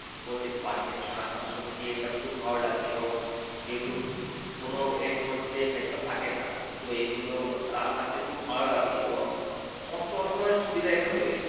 কোরে বাড়িতে নিয়ে আসা সত্যি এটা খুব ভালো লাগে এবং যেহেতু কোনো এর মধ্যে ভেজাল থাকে না তো এই গুলো রান্নাতে খুব ভালো লাগে এবং সমস্ত রকমের সুবিধা এখানে রয়েছে